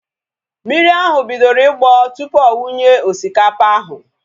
Mmiri ahu bidoro ịgbọ tupu ọ wunye osikapa ahu